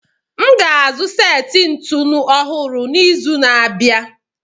M ga-azụ seti ntụnụ ọhụrụ n'izu na-abịa.